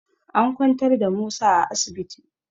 An kwantar da Musa a asibiti